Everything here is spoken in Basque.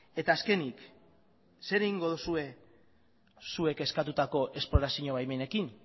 eta azkenik zer egingo duzue zuek eskatutako esplorazio baimenekin